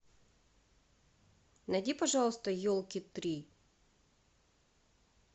найди пожалуйста елки три